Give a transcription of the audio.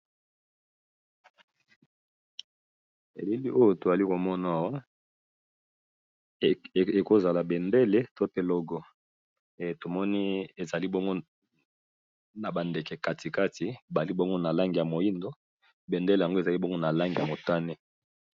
Elili oyo to zali ko mona eko zala bendele to pe logo, tomoni ezali bongo na ba ndeke katikati bali bongo na langi ya moyindo, bendele yango ezali bongo na langi ya motane .